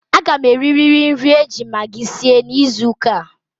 A ga m eririri nri e ji magi sie n'izuuka a.